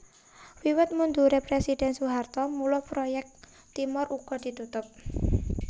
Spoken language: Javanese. Wiwit mundure Presiden Soeharto mula proyek Timor uga ditutup